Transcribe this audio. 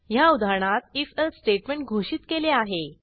ह्या उदाहरणात if else statement घोषित केले आहे